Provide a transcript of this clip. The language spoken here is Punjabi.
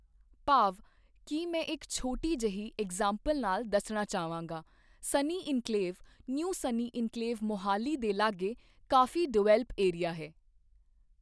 ਭਾਵ ਕਿ ਮੈਂ ਇੱਕ ਛੋਟੀ ਜਿਹੀ ਇੰਗਜ਼ਾਪਲ ਨਾਲ ਦੱਸਣਾ ਚਾਹਵਾਂਗਾ Sunny Enclave New Sunny Enclave Mohali ਦੇ ਲਾਗੇ ਕਾਫ਼ੀ ਡਿਵੈਲਪ ਏਰੀਆ ਹੈ